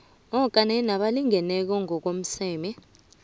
kanye nabalingeneko amasmme